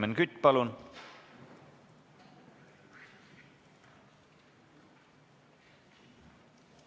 Helmen Kütt, palun!